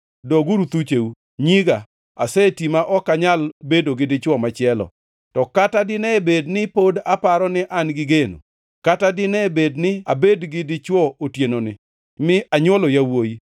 Doguru thucheu, nyiga; aseti ma ok anyal bedo gi dichwo machielo. To kata dine bed ni pod aparo ni an gi geno, kata dine bed ni abedo gi dichwo otienoni mi anywolo yawuowi